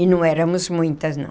E não éramos muitas, não.